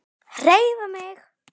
HREYFA MIG!